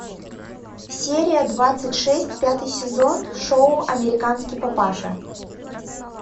серия двадцать шесть пятый сезон шоу американский папаша